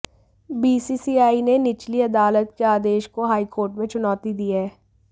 BCCI ने निचली अदालत के आदेश को हाई कोर्ट में चुनौती दी है